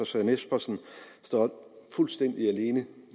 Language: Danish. søren espersen står fuldstændig alene